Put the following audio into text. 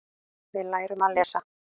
Við lærum að lesa.